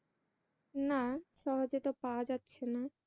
না। সহজে তো পাওয়া যাচ্ছেনা।